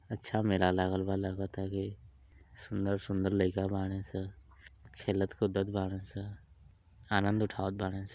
अच्छा मेला लागल बा लगता की सुन्दर-सुन्दर लइका बाड़े स खेलत-कुदत बाड़े स आनंद उठावत बाड़े स।